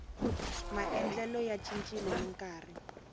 maendlelo ya cincile ni nkarhi